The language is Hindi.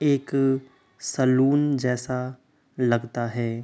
एक सलून जैसा लगता है।